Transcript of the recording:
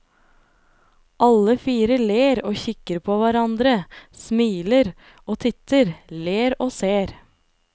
Alle fire ler og kikker på hverandre, smiler og titter, ler og ser.